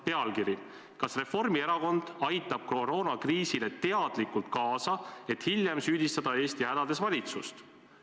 Pealkiri "Kas Reformierakond aitab koroonakriisile teadlikult kaasa, et hiljem süüdistada Eesti hädades valitsust?".